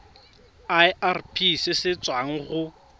irp se se tswang go